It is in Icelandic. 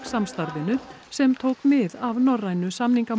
samstarfinu sem tók mið af norrænu